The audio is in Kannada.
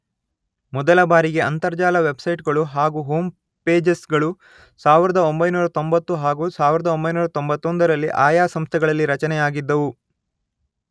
ಮೊದಲ ಬಾರಿಗೆ ಅಂತರ್ಜಾಲ ವೆಬ್ಸೈಟ್ ಗಳು ಹಾಗು ಹೋಂ ಪೇಜಸ್ ಗಳು ಸಾವಿರದ ಒಂಬೈನೂರ ತೊಂಬತ್ತು ಹಾಗೂ ಸಾವಿರದ ಒಂಬೈನೂರ ತೊಂಬತ್ತೊಂದರಲ್ಲಿ ಆಯಾ ಸಂಸ್ಥೆಗಳಲ್ಲಿ ರಚನೆಯಾಗಿದ್ದವು